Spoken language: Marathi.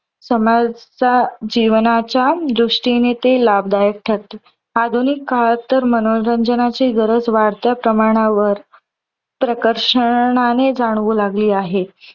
समाज जीवनाच्या दृष्टीने ते लाभदायक ठरते. आधुनिक काळातून तर मनोरंजनाची गरज वाढत्या प्रमाणावर प्रकर्षणाने जाणवू लागली आहे.